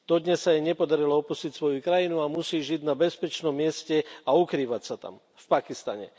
Dodnes sa jej nepodarilo opustiť svoju krajinu a musí žiť na bezpečnom mieste a ukrývať sa tam, v Pakistane.